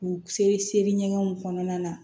U seri seri ɲɛgɛnw kɔnɔna na